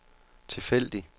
tilfældig